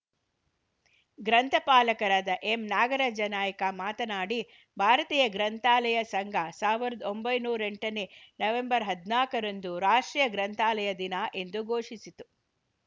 ಗ್ರಂಥಪಾಲಕರಾದ ಎಂನಾಗರಾಜ ನಾಯ್ಕ ಮಾತನಾಡಿ ಭಾರತೀಯ ಗ್ರಂಥಾಲಯ ಸಂಘ ಸಾವಿರದ ಒಂಬೈನೂರ್ ಎಂಟನೇ ನವೆಂಬರ್ ಹದಿನಾಕ ರಂದು ರಾಷ್ಟ್ರೀಯ ಗ್ರಂಥಾಲಯ ದಿನ ಎಂದು ಘೋಷಿಸಿತು